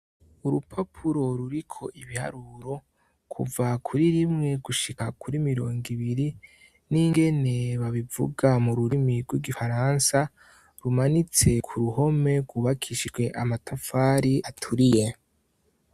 Urupapuro ruriko ibiharuro kuva kuri rimwe gushika kuri mirongo ibiri n'ingene babivuga mu rurimi rw'igifaransa rumanitse ku ruhome gubakishwe amatafari aturiye.